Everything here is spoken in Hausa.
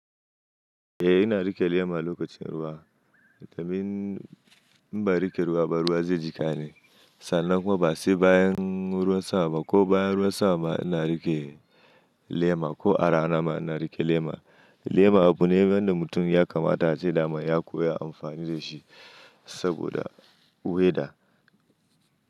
Eh ina riƙe lema lokacin ruwa, domin in ban riƙe ruwa ba ruwa zai jika ni. Sannan kuma ba sai bayan ruwan sama ko bayan ruwan sama ina riƙe lema ko a rana ma ina riƙe lema. Lema abu ne wanda mutum ya kamata a ce dama ya kuwa amfani da shi saboda weda.